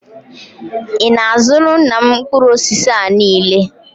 Ị na-azụra nna m mkpụrụ osisi a niile?